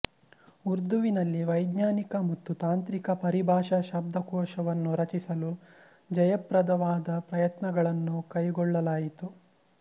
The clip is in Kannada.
ಉರ್ದುವಿನಲ್ಲಿ ವೈಜ್ಞಾನಿಕ ಮತ್ತು ತಾಂತ್ರಿಕ ಪರಿಭಾಷಾ ಶಬ್ದಕೋಶವನ್ನು ರಚಿಸಲು ಜಯಪ್ರದವಾದ ಪ್ರಯತ್ನಗಳನ್ನು ಕೈಗೊಳ್ಳಲಾಯಿತು